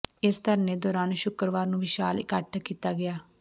ਇਸ ਧਰਨੇ ਦੌਰਾਨ ਸ਼ੁੱਕਰਵਾਰ ਨੂੰ ਵਿਸ਼ਾਲ ਇਕੱਠ ਕੀਤਾ ਗਿਆ